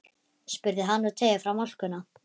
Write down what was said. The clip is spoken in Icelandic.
spurði hann og teygði fram álkuna.